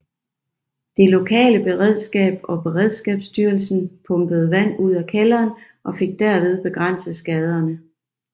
Det lokale beredskab og Beredskabsstyrelsen pumpede vand ud af kælderen og fik derved begrænset skaderne